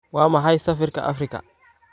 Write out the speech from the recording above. Waa maxay sarifka Afrika?